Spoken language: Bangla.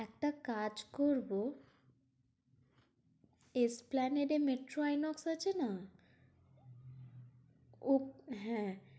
একটা কাজ করবো। এস্প্লানেটে মেট্রো আইনক্স আছে না? ও হ্যাঁ